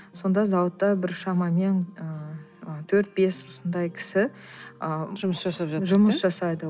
сонда зауытта бір шамамен ыыы төрт бес сондай кісі ы жұмыс жасайды